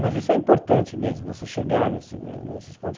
Mas isso é importante mesmo, você chegar nesse ne nesses pontos.